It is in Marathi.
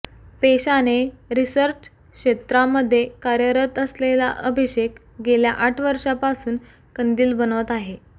पेशाने रिसर्च क्षेत्रामध्ये कार्यरत असलेला अभिषेक गेल्या आठ वर्षापासून कंदील बनवत आहे